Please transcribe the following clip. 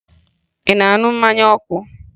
Ị na-aṅụ mmanya ọkụ?